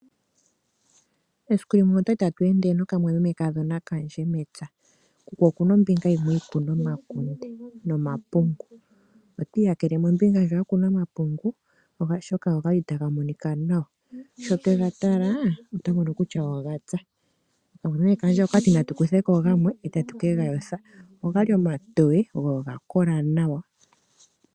Esiku limwe otwa li tatu ende nokamwaamemekadhona mepya. Kuku oku na ombinga yimwe e yi kuna omakunde nomapungu. Otwa iyakele kombinga ndjoka ya kunwa omapungu, oshoka ogali taga monika nawa. Sho twega tala otwa mono kutya oga kola. Okamwamemekadhona oka ti natu kuthe ko gamwe e tatu ke ga yotha. Ogali omatoye go oga kola nawa.